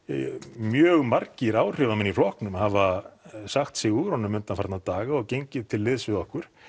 mjög margir áhrifamenn í flokknum hafa sagt sig úr honum undanfarna daga og gengið til liðs við okkur